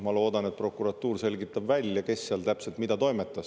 Ma loodan, et prokuratuur selgitab välja, kes seal täpselt mida toimetas.